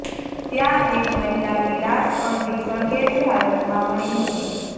ત્યાં એક મહિલાની લાશ અડધી સળગેલી હાલતમાં મળી હતી